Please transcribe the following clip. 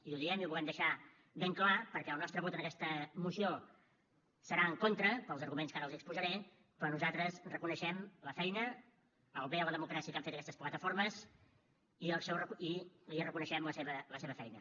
i ho diem i ho volem deixar ben clar perquè el nostre vot en aquesta moció serà en contra pels arguments que ara els exposaré però nosaltres reconeixem la feina el bé a la democràcia que han fet aquestes plataformes i li reconeixem la seva feina